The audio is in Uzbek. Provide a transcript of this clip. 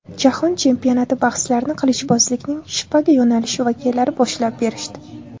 Jahon chempionati bahslarini qilichbozlikning shpaga yo‘nalishi vakillari boshlab berishdi.